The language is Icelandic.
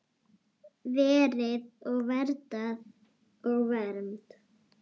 Verið og verndað og vermt.